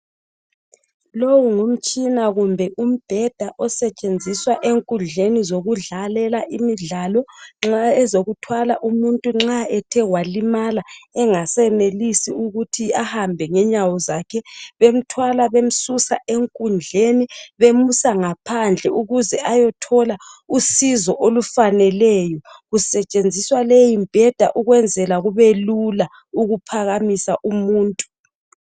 Lowu ngumtshina kumbe umbheda osetshenziswa enkundleni zokudlalela imidlalo nxa ezokuthwala umuntu nxa ethe walimala engasenelisi ukuthi ahambe ngenyawo zakhe bemthwala bemsusa enkundleni bemusa ngaphandle ukuze ayethola usizo olufaneleyo kusetshenziswa leyimbheda ukwenzela kubelula ukuphakamisa umuntu.